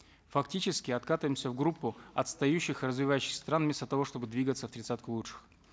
фактически откатываемся в группу отстающих развивающихся стран вместо того чтобы двигаться в тридцатку лучших